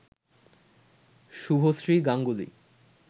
Subhashree Ganguly